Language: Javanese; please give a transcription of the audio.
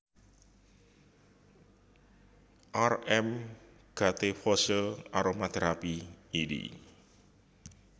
R M Gattefossé Aromatherapy éd